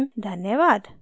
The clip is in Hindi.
धन्यवाद